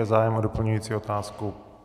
Je zájem o doplňující otázku?